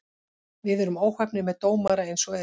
Við erum óheppnir með dómara eins og er.